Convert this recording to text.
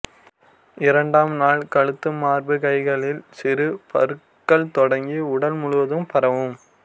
இரண்டாம் நாள் கழுத்து மார்பு கைகளில் சிறு பருக்கள் தொடங்கி உடல் முழுவதும் பரவும்